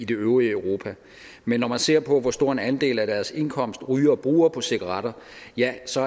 det øvrige europa men når man ser på hvor stor en andel af deres indkomst rygere bruger på cigaretter ja så